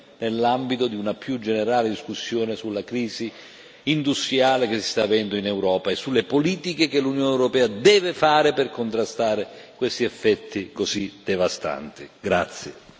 Dobbiamo discuterne nell'ambito di una più generale discussione sulla crisi industriale che si sta avendo in Europa e sulle politiche che l'Unione europea deve fare per contrastare questi effetti così devastanti.